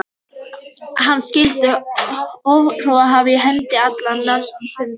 Hann skyldi hofgoði hafa á hendi til allra mannfunda.